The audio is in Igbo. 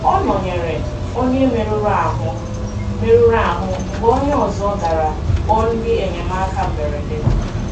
Ọ nọ̀nyerè onye mèruru ahú mèruru ahú mgbe onye ọzọ garà kpọọ ndị enyemáka mberede.